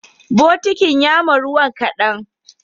Bokitin yama ruwan kadan